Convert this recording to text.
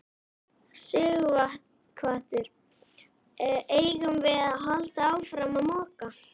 Sighvatur: Eigum við að halda áfram að moka?